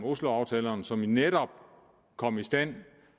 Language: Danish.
osloaftalen som netop kom i stand